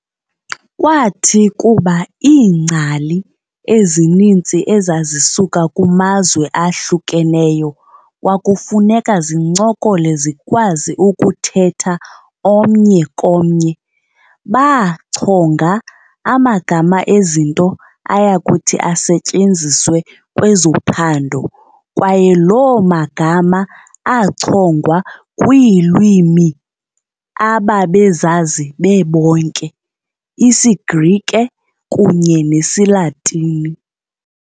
Kwathi kuba iingcali ezininzi ezazisuka kumazwe ahlukeneyo kwakufuneka zincokole zikwazi ukuthetha omnye komnye, baachonga amagama ezinto ayakuthi asetyenziswe kwezophando kwaye loo magama achongwa kwiilwimi ababezazi bebonke- isiGrike kunye nesiLatini.